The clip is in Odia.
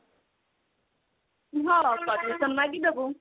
ହଁ permission ମାଗିଦବୁ।